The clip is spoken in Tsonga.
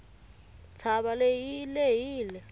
ntshava leyi yi lehile